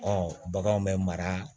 baganw bɛ mara